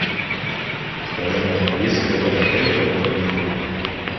скажи мне есть ли в этом отеле какой нибудь клуб